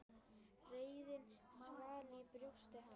Reiðin svall í brjósti hans.